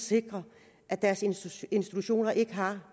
sikre at deres institutioner ikke har